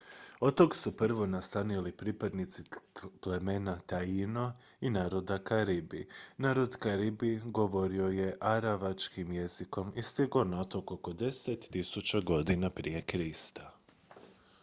otok su prvo nastanili pripadnici plemena taíno i naroda karibi. narod karibi govorio je aravačkim jezikom i stigao na otok oko 10 000 godina prije krista